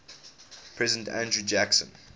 president andrew jackson